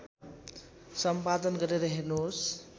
सम्पादन गरेर हेर्नुहोस्